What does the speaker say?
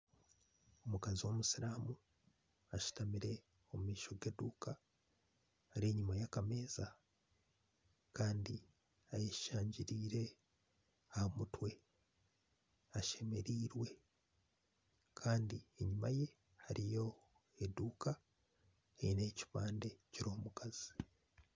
Omukazi w'omusiraamu ashutamire omu maisho g'eduuka ari enyuma yakameeza Kandi ayeshangiriire aha mutwe ashemereirwe Kandi enyuma ye hariyo enduuka eriho ekipande kiriho omukazi